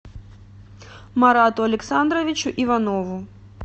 марату александровичу иванову